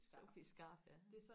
Sophies skarf ja